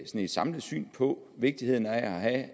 et samlet syn på vigtigheden af at